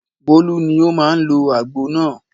Bólú ni ó máa ń lo àgbo náà.